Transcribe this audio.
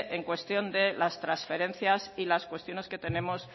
en cuestión de las transferencias y las cuestiones que tenemos